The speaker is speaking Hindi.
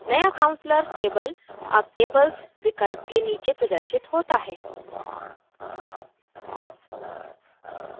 नया counselor table अब tables विकल्प के नीचे प्रदर्शित होता है